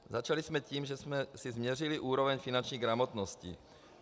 Začali jsme tím, že jsme si změřili úroveň finanční gramotnosti.